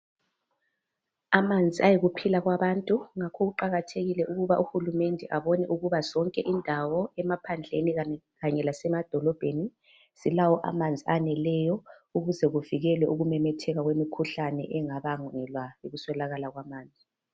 Amanzi ayikuphila kwabantu ngakho kuqakathekile ukuthi uhulumende abone ukuba zonke indawo emaphandleni kanye lasemadolobheni zilawo amanzi aneleyo ukuze kuvikeleke ukumemetheka kwemikhuhlane engabangelwa yikuswelakala kwamanzi.